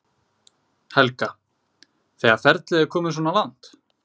Helga: Þegar ferlið er komið svona langt?